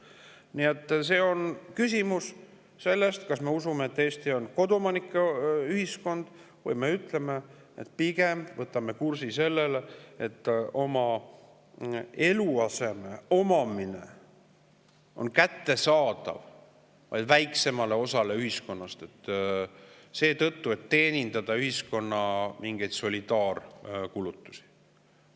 Nii et küsimus on selles, kas me usume, et Eesti on koduomanike ühiskond, või me ütleme, et me pigem võtame kursi sinna, et oma eluaseme omamine on kättesaadav vaid väiksemale osale ühiskonnast, selleks et teenindada mingeid ühiskonna solidaarkulutusi.